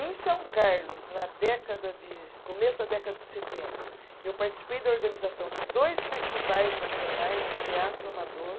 Em São Carlos, na década de, começo da década de setenta, eu participei da organização de dois festivais nacionais de teatro amador.